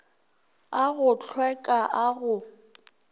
a go hlweka a go